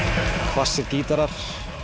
hvassir gítarar